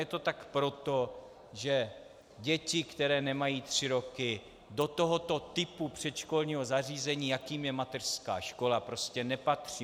Je to tak proto, že děti, které nemají tři roky, do tohoto typu předškolního zařízení, jakým je mateřská škola, prostě nepatří.